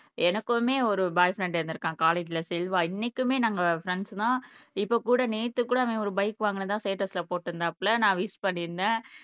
எனக்குமே ஒரு boyfriend இருந்திருக்கான் காலேஜ்ல செல்வா இன்னைக்குமே நாங்க ஃப்ரெண்ட்ஸ் தான் இப்ப கூட நேத்து கூட அவன் ஒரு பைக் வாங்கினதா ஸ்டேட்டஸ்ல போட்டு இருந்தாப்ல நான் விஷ் பண்ணிருந்தேன்.